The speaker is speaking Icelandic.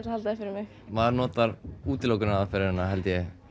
að halda því fyrir mig maður notar held ég